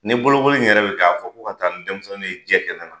Ni bolokoli in yɛrɛ be kɛ, a bi fɔ ko ka taa ni denmisɛnninw ye jɛ kɛnɛ na.